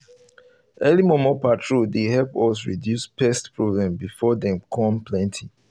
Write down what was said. early momo patrol dey help us reduce pest problem before them come plenty